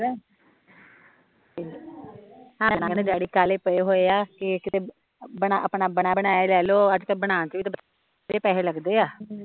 ਤੇ ਤੈਨੂ ਪਤਾ ਡੈਡੀ ਕਾਹਲੇ ਪਏ ਹੋਏ ਆ ਕਿ ਕਿਤੇ ਆਪਣਾ ਬਣਿਆ ਬਣਾਇਆ ਹੀਂ ਲੇਲਓ ਅੱਜ ਕੱਲ ਬਣਾਉਣ ਤੇ ਵੀ ਵਧੇਰੇ ਪੈਸੇ ਲੱਗਦੇ ਆ